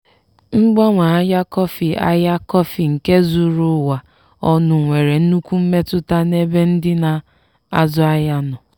mgbanwe ahịa kọfị ahịa kọfị nke zuru ụwa ọnụ nwere nnukwu mmetụta n'ebe ndị na-azụ ahịa nọ.